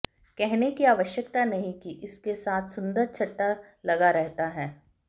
कहने की आवश्यकता नहीं कि इसके साथ सुंदर छट्टा लगा रहता है